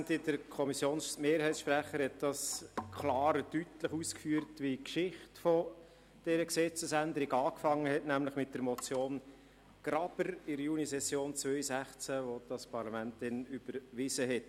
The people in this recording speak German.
Der Sprecher der Kommissionsmehrheit hat klar und deutlich ausgeführt, wie die Geschichte dieser Gesetzesänderung anfing, nämlich mit der Motion Graber in der Junisession 2016, die das Parlament damals überwiesen hat.